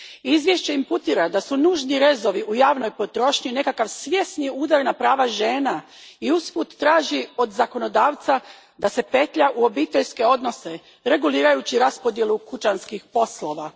Izvješće imputira da su nužni rezovi u javnoj potrošnji nekakav svjesni udar na prava žena i usput traži od zakonodavca da se petlja u obiteljske odnose regulirajući raspodjelu kućanskih poslova.